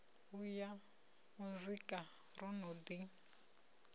ya muzika ro no ḓi